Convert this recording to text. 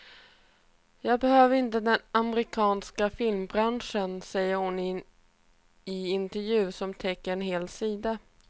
Jag behöver inte den amerikanska filmbranschen, säger hon i intervjun som täcker en hel sida.